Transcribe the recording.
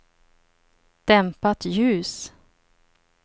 dämpat ljus